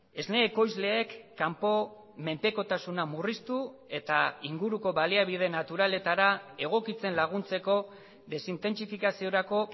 esne ekoizleek kanpo menpekotasuna murriztu eta inguruko baliabideen naturaletara egokitzen laguntzeko desintentsifikaziorako